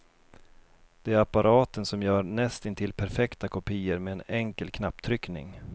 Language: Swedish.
Det är apparaten som gör näst intill perfekta kopior med en enkel knapptryckning.